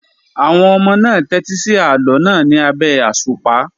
Àwọn ọmọ náà tẹ́tí sí àlọ́ náà ní abẹ́ àṣùpá.